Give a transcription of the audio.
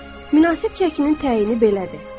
Münasib çəkinin təyini belədir.